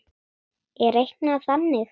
er reiknað þannig